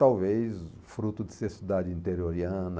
Talvez fruto de ser cidade interioriana,